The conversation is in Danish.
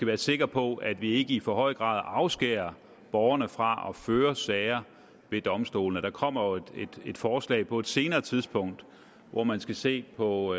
være sikre på at vi ikke i for høj grad afskærer borgerne fra at føre sager ved domstolene der kommer jo et forslag på et senere tidspunkt hvor man skal se på